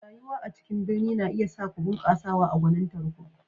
Rayuwa a cikin birni na iya sa ku bunƙasawa a gwanintar ku.